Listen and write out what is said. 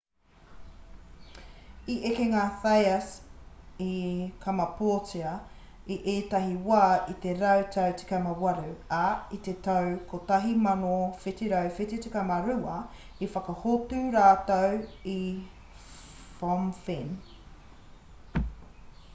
i eke ngā thais i kamapōtia i ētahi wā i te rautau 18 ā i te tau 1772 i whakahotu rātou i phnom phen